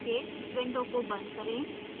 इस window को बंद करें